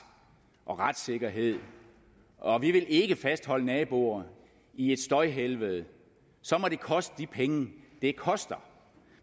og retssikkerhed og vi vil ikke fastholde naboer i et støjhelvede så må det koste de penge det koster